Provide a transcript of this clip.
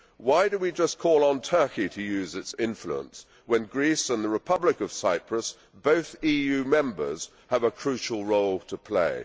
Why do we just call on Turkey to use its influence when Greece and the Republic of Cyprus, both EU members, have a crucial role to play?